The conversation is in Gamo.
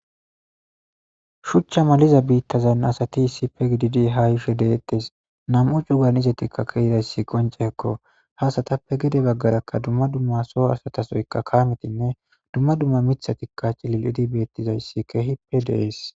shuchcha maliza biittazan asati sipe gididi hayushe deettes nam7u cugan izetikka keidayssi qonceekko haasatappe gede baggarakka dumma dumma soo asatasoyka kametinne dumma dumma mithatikka cilil idi beettizayssi kehi pe dees